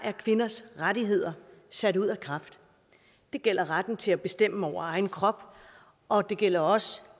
er kvinders rettigheder sat ud af kraft det gælder retten til at bestemme over egen krop og det gælder også